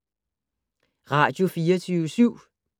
Radio24syv